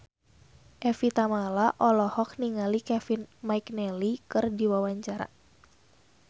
Evie Tamala olohok ningali Kevin McNally keur diwawancara